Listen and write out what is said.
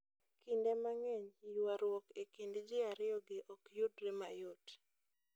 Kinde mang'eny, ywaruok e kind ji ariyogi ok yudre mayot.